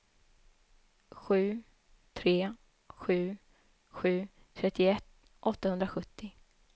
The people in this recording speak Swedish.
sju tre sju sju trettioett åttahundrasjuttio